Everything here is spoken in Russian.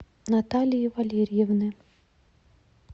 наталии валерьевны